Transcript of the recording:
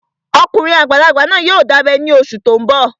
Ọkùnrin àgbàlagbà náà yóò dábẹ́ ní oṣù tó n bọ̀